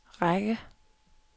række